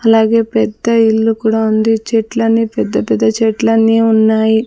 అలాగే పెద్ద ఇల్లు కూడా ఉంది చెట్లని పెద్ద పెద్ద చెట్లన్నీ ఉన్నాయి.